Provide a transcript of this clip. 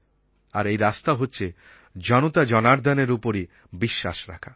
আর এই রাস্তা হচ্ছে জনতাজনার্দ্দনের উপরই বিশ্বাস রাখা